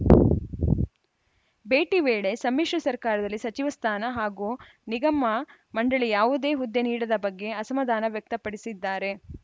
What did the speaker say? ಭೇಟಿ ವೇಳೆ ಸಮ್ಮಿಶ್ರ ಸರ್ಕಾರದಲ್ಲಿ ಸಚಿವ ಸ್ಥಾನ ಹಾಗೂ ನಿಗಮಮಂಡಳಿ ಯಾವುದೇ ಹುದ್ದೆ ನೀಡದ ಬಗ್ಗೆ ಅಸಮಾಧಾನ ವ್ಯಕ್ತಪಡಿಸಿದ್ದಾರೆ